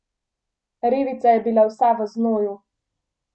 Revica je bila vsa v znoju.